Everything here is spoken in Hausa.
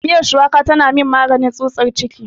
Miyar shuwaka tana min maganin tsutsar ciki.